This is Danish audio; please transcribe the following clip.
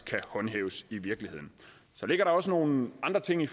kan håndhæves i virkeligheden så ligger der også nogle andre ting i